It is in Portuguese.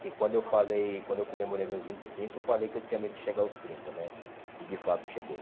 que quando eu falei quando eu comemorei meus vinte e cinco, eu falei que eu tinha medo de chegar aos trinta né, e de fato cheguei.